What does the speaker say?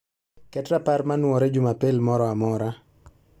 ket rapar manuore jumapil moro amora